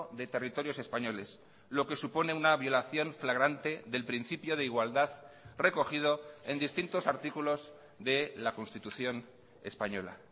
de territorios españoles lo que supone una violación flagrante del principio de igualdad recogido en distintos artículos de la constitución española